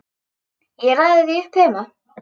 Ég raðaði því upp heima.